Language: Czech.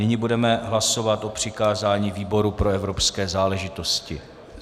Nyní budeme hlasovat o přikázání výboru pro evropské záležitosti.